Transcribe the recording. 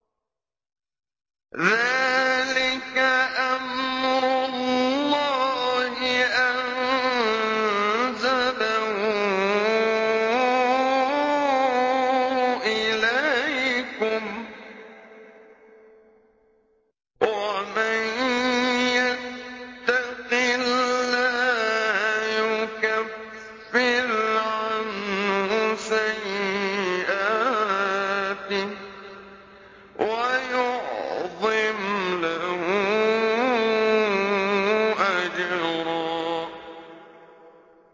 ذَٰلِكَ أَمْرُ اللَّهِ أَنزَلَهُ إِلَيْكُمْ ۚ وَمَن يَتَّقِ اللَّهَ يُكَفِّرْ عَنْهُ سَيِّئَاتِهِ وَيُعْظِمْ لَهُ أَجْرًا